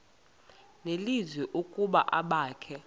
nelizwi ukuba abakhe